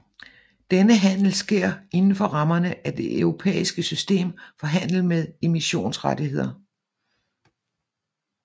Denne handel sker inden for rammerne af det europæiske system for handel med emissionsrettigheder